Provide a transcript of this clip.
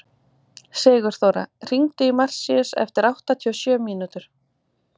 Sigurþóra, hringdu í Marsíus eftir áttatíu og sjö mínútur.